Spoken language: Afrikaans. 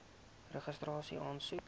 registrasieaansoek